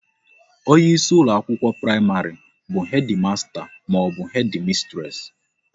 Onye isi ụlọ akwụkwọ praịmarị bu Hedi masta maọbụ Hedi mistres